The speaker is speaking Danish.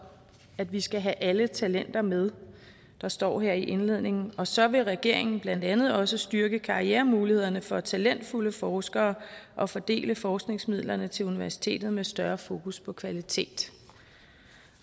at vi skal have alle talenter med der står her i indledningen og så vil regeringen blandt andet også styrke karrieremulighederne for talentfulde forskere og fordele forskningsmidlerne til universiteterne med større fokus på kvalitet